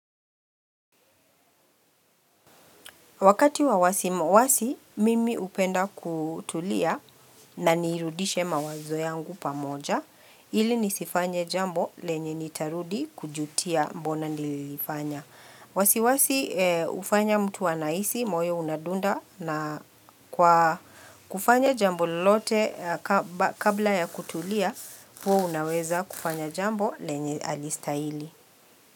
Wakati wa wawasi mimi hupenda kutulia na nirudishe mawazo yangu pamoja ili nisifanye jambo lenye nitarudi kujutia mbona nililifanya. Wasi wasi hufanya mtu anahisi moyo unadunda na kwa kufanya jambo lelote kabla ya kutulia huwa unaweza kufanya jambo lenye halistahili.